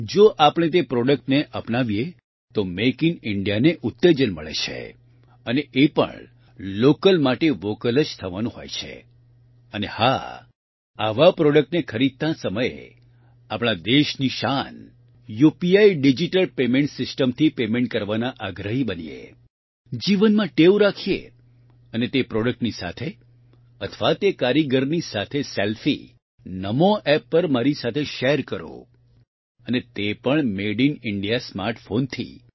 જો આપણે તે પ્રોડક્ટને અપનાવીએ તો મેક ઇન ઇન્ડિયાને ઉત્તેજન મળે છે અને એ પણ લોકલ માટે વોકલ જ થવાનું હોય છે અને હા આવા પ્રોડક્ટને ખરીદતાં સમયે આપણા દેશની શાન યુપીઆઇ ડીજીટલ પેમેન્ટ સીસ્ટમથી પેમેન્ટ કરવાના આગ્રહી બનીએ જીવનમાં ટેવ રાખીએ અને તે પ્રોડક્ટની સાથે અથવા તે કારીગરની સાથે સેલ્ફી નમો એપ પર મારી સાથે શેર કરો અને તે પણ મેડ ઇન ઇન્ડિયા સ્માર્ટ ફોનથી